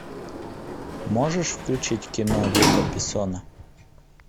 можешь включить кино люка бессона